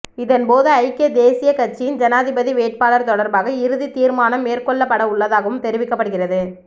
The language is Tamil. இதன்போது ஐக்கிய தேசியக் கட்சியின் ஜனாதிபதி வேட்பாளர் தொடர்பாக இறுதி தீர்மானம் மேற்கொள்ளப்படவுள்ளதாகவும் தெரிவிக்கப்படுகிறது